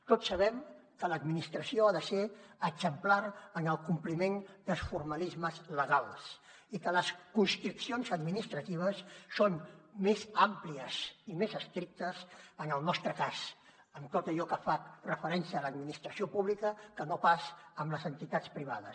tots sabem que l’administració ha de ser exemplar en el compliment dels formalismes legals i que les constriccions administratives són més àmplies i més estrictes en el nostre cas en tot allò que fa referència a l’administració pública que no pas amb les entitats privades